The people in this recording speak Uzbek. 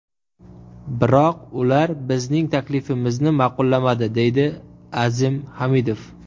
Biroq ular bizning taklifimizni ma’qullamadi”, deydi Azim Hamidov.